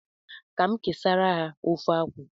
Ka m kesara ha ofe akwu ahu